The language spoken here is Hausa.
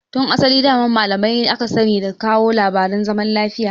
Tun asali daman malamai aka sani da kawo labarin zaman lafiya.